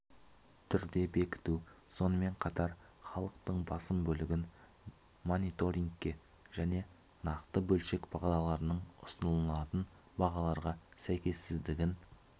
түрде бекіту сонымен қатар халықтың басым бөлігін мониторингке және нақты бөлшек бағалардың ұсынылатын бағаларға сәйкессіздігін